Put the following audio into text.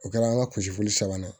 O kɛra an ka kusili sabanan